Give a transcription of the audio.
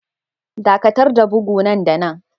Dakatar da bugu nan da nan